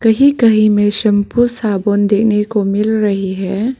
कहीं कहीं में शैंपू साबुन देने को मिल रही है।